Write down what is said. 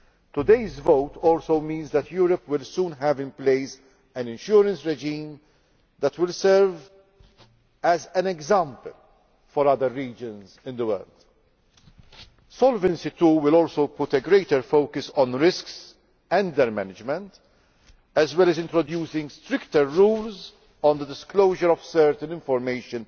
Today's vote also means that Europe will soon have in place an insurance regime that will serve as an example for other regions in the world. SolvencyII will also put a greater focus on risks and their management, as well as introducing stricter rules on the public disclosure of certain information.